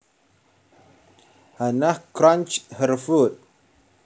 Hannah crunched her food